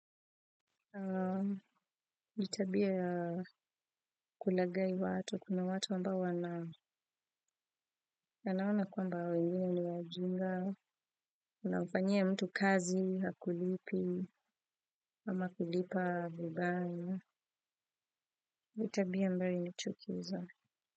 Ni tabia ya kulagai watu. Kuna watu ambao wanaona kwamba hawa wengine ni wajinga, unamfanyia mtu kazi, hakulipi, ama kulipa vibaya. Ni tabia ambayo inachukiza.